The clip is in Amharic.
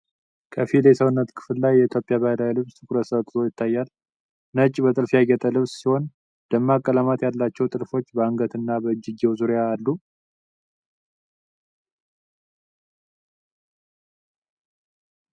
ከፊል የሰውነት ክፍል ላይ የኢትዮጵያ ባህላዊ ልብስ ትኩረት ሰጥቶ ይታያል። ነጭ፣ በጥልፍ ያጌጠ ልብስ ሲሆን፣ ደማቅ ቀለማት ያላቸው ጥልፎች በአንገትና በእጅጌው ዙሪያ አሉ።